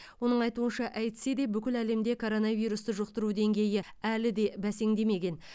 оның айтуынша әйтсе де бүкіл әлемде коронавирусты жұқтыру деңгейі әлі де бәсеңдемеген